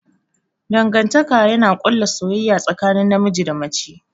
Dangantaka yana ƙulla soyayya tsakanin namiji da mace.